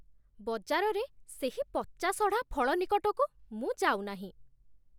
ବଜାରରେ ସେହି ପଚାସଢ଼ା ଫଳ ନିକଟକୁ ମୁଁ ଯାଉନାହିଁ।